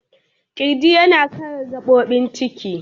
Kirji yana kare gabobin ciki.